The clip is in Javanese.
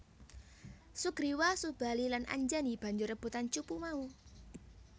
Sugriwa Subali lan Anjani banjur rebutan cupu mau